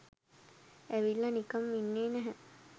ඇවිල්ල නිකම් ඉන්නේ නැහැ